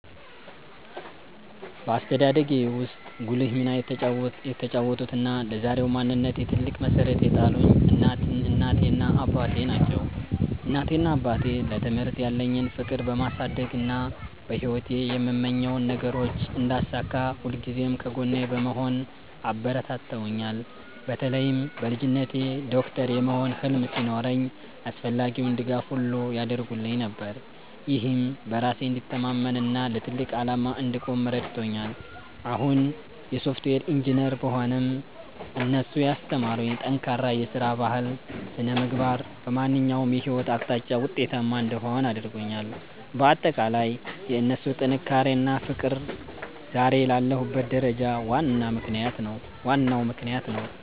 በአስተዳደጌ ውስጥ ጉልህ ሚና የተጫወቱትና ለዛሬው ማንነቴ ትልቅ መሠረት የጣሉልኝ እናቴና አባቴ ናቸው። እናቴና አባቴ ለትምህርት ያለኝን ፍቅር በማሳደግና በሕይወቴ የምመኛቸውን ነገሮች እንዳሳካ ሁልጊዜም ከጎኔ በመሆን አበረታትተውኛል። በተለይም በልጅነቴ ዶክተር የመሆን ህልም ሲኖረኝ አስፈላጊውን ድጋፍ ሁሉ ያደርጉልኝ ነበር፤ ይህም በራሴ እንድተማመንና ለትልቅ ዓላማ እንድቆም ረድቶኛል። አሁን የሶፍትዌር ኢንጂነር ብሆንም፣ እነሱ ያስተማሩኝ ጠንካራ የሥራ ባህልና ሥነ-ምግባር በማንኛውም የሕይወት አቅጣጫ ውጤታማ እንድሆን አድርጎኛል። ባጠቃላይ የእነሱ ጥንካሬና ፍቅር ዛሬ ላለሁበት ደረጃ ዋናው ምክንያት ነው።